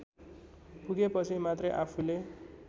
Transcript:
पुगेपछि मात्रै आफूले